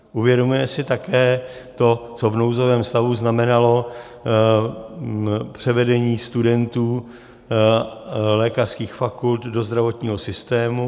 Uvědomujeme si také to, co v nouzovém stavu znamenalo převedení studentů lékařských fakult do zdravotního systému.